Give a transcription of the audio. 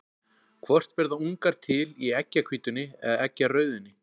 Hvort verða ungar til í eggjahvítunni eða eggjarauðunni?